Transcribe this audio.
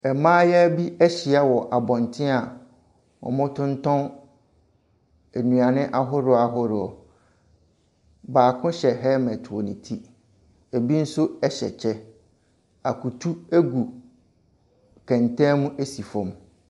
Mmayewa bi ahyia wɔ abɔnten a wɔtontɔn nnuane ahodoɔ ahodoɔ. Baako hyɛ helmet wɔ ne ti. Ebi nso hyɛ kyɛ. Akutu gu kɛntɛn mu si fam.